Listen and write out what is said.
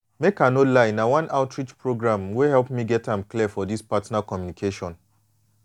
make i no lie na one local outreach program wey help me get am clear for this partner communication